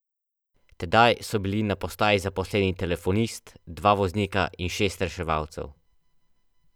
Tedaj so bili na postaji zaposleni telefonist, dva voznika in šest reševalcev.